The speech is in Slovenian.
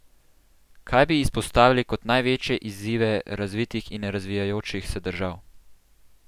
Kaj bi izpostavili kot največje izzive razvitih in razvijajočih se držav?